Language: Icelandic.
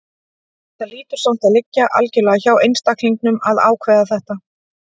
Þetta hlýtur samt að liggja algjörlega hjá einstaklingnum að ákveða þetta.